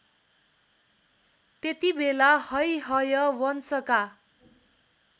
त्यतिबेला हैहयवंशका